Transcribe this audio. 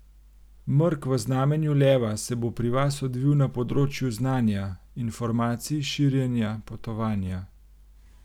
Mrk v znamenju leva se bo pri vas odvil na področju znanja, informacij, širjenja, potovanja.